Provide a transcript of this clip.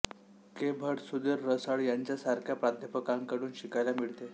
के भट सुधीर रसाळ यांसारख्या प्राध्यापकांकडून शिकायला मिळाले